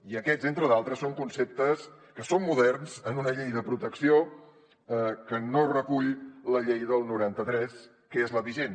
i aquests entre d’altres són conceptes que són moderns en una llei de protecció que no recull la llei del noranta tres que és la vigent